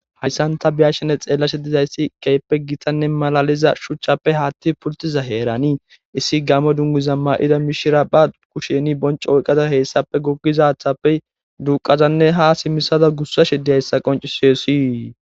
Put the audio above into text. Hayssan ta biyashene xeellashe dizayssi keeppe gitanne malaliza shuchchappe haatti pultiza heeranii issi gamo dunniza ma7ida mishira ba kusheni bonci oyqqaza heessappe gogizathappey duqazanne ha simisada gussa shide hessa qoncisiyosi.